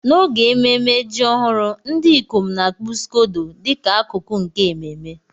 N'oge ememme ji ọhụrụ, ndị ikom n'akpu scodo dị ka akụkụ nke ememe.